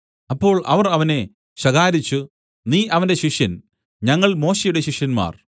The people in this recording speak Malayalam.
അപ്പോൾ അവർ അവനെ ശകാരിച്ചു നീ അവന്റെ ശിഷ്യൻ ഞങ്ങൾ മോശെയുടെ ശിഷ്യന്മാർ